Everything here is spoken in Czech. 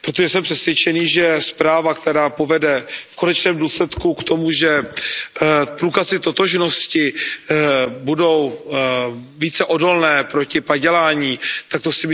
protože jsem přesvědčený, že zpráva, která povede v konečném důsledku k tomu, že průkazy totožnosti budou více odolné proti padělání, tak to si myslím, že je dobrý signál.